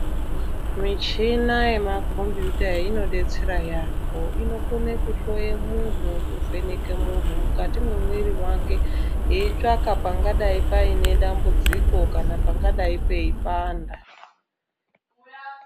Michina yemakombiyuta inobetsera yaambo inokone kuhloye muntu kuvheneke muntu mukati mwemwiri vake. Eitsvaka pangadai paine dambudziko kana pangadai peipanda.